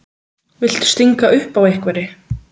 Viltu stinga upp á einhverri?